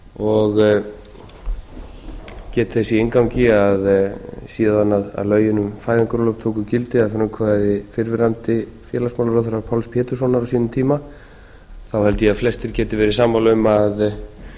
og get þess í inngangi að síðan lögin um fæðingarorlof tóku gildi að frumkvæði fyrrverandi félagsmálaráðherra páls péturssonar á sínum tíma þá held ég að flestir geti verið sammála um að það